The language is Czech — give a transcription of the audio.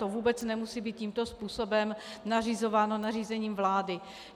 To vůbec nemusí být tímto způsobem nařizováno nařízením vlády.